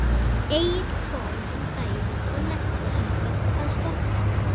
Egill kom um daginn og nennti ekkert að stoppa.